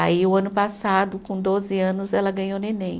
Aí o ano passado, com doze anos, ela ganhou neném.